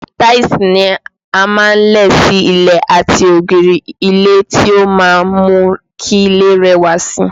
Táìsì ni a máa ń lẹ̀ sí ilẹ̀ àti ògiri ilé tí ó máa ń mú kí ilé rẹwà síi